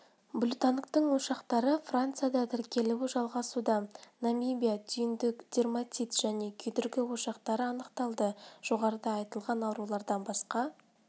блютангтың ошақтары францияда тіркелуі жалғасуда намибияда түйіндік дерматит және күйдіргі ошақтары анықталды жоғарыда айтылған аурулардан басқа